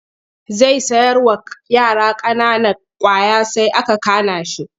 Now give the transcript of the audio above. Zai sayarwa yara ƙanana ƙwaya sai aka kana shi.